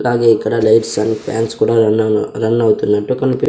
అలానే ఇక్కడ lights and fans కూడా రన్ రన్ అవుతున్నట్లు కనిపిస్తున్నాయి.